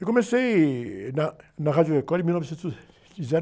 Eu comecei na, na Rádio Record em mil novecentos e